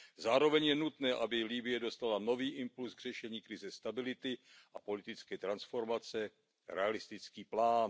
Zároveň je nutné, aby Libye dostala nový impuls k řešení krize stability a politické transformace, realistický plán.